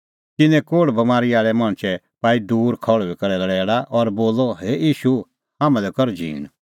तिन्नैं कोल़्हे बमारी आल़ै मणछै पाई दूर खल़्हुई करै लैल़ा और बोलअ हे ईशू हाम्हां लै कर झींण